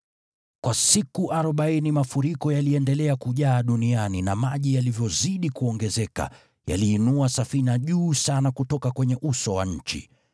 Kwa siku arobaini mafuriko yaliendelea kujaa duniani na maji yalivyozidi kuongezeka, yaliinua safina juu sana kutoka kwenye uso wa nchi.